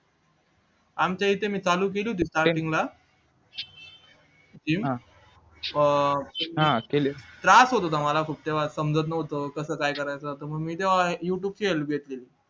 आमच्या इथे मी चालू केली होती gym त्रास होत होता मला खूप तेव्हा समजत नव्हत कसं काय करायचं तर मी तेव्हा youtube ची help घेतली होती